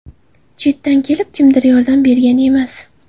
Chetdan kelib, kimdir yordam bergan emas.